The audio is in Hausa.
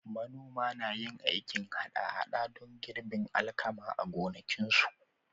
Manoman na yin aikin haɗa-haɗa don girbin alkama a gonakinsu.